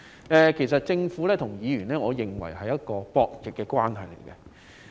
我認為政府與議員之間是博弈關係。